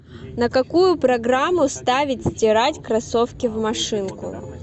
на какую программу ставить стирать кроссовки в машинку